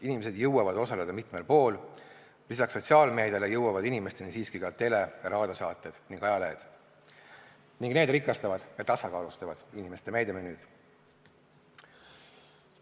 Inimesed jõuavad osaleda mitmel pool, lisaks sotsiaalmeediale jõuavad inimesteni siiski ka tele- ja raadiosaated ning ajalehed ning need rikastavad ja tasakaalustavad inimeste meediamenüüd.